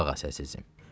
Qulaq as əzizim.